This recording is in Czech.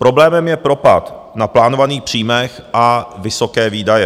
Problémem je propad na plánovaných příjmech a vysoké výdaje.